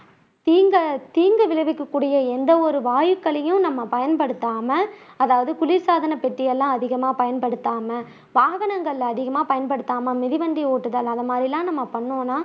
தீண்ட தீங்கு விளைவிக்க கூடிய எந்தவொரு வாயுக்களையும் நம்ம பயன்படுத்தாம அதாவது குளிசாதன பெட்டியெல்லாம் அதிகமா பயன்படுத்தாம வாகனங்கள் அதிகமா பயன்படுத்தாம மிதிவண்டி ஓட்டுதல் அந்த மாதிரி எல்லாம் நம்ம பண்ணோம்னா